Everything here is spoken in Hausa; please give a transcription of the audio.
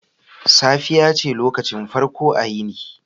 Safiya ce lokacin farko a yini.